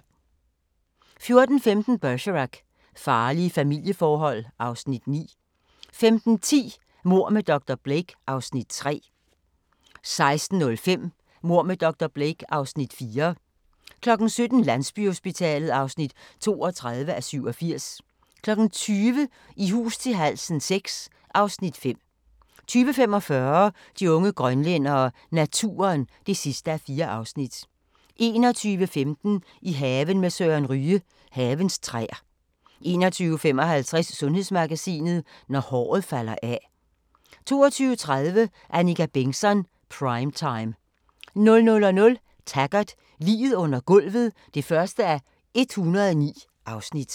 14:15: Bergerac: Farlige familieforhold (Afs. 9) 15:10: Mord med dr. Blake (Afs. 3) 16:05: Mord med dr. Blake (Afs. 4) 17:00: Landsbyhospitalet (32:87) 20:00: I hus til halsen VI (Afs. 5) 20:45: De unge grønlændere - naturen (4:4) 21:15: I haven med Søren Ryge: Havens træer 21:55: Sundhedsmagasinet: Når håret falder af 22:30: Annika Bengtzon: Prime time 00:00: Taggart: Liget under gulvet (1:109)